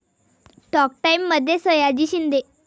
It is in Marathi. टाॅक टाइममध्ये सयाजी शिंदे